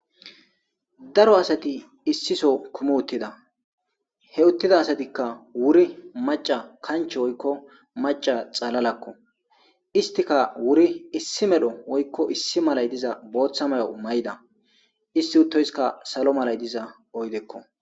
daro asati issiso kumu uttida he uttida asatikka wuri maca kanch woykko maca xalalakko istika wuri issi medho woykko issi malay diza booththa mayo may7da issi uttoyska salo malay diza oydekko